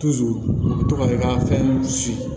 u bɛ to ka i ka fɛn si